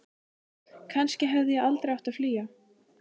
Kannski hefði ég aldrei átt að flýja.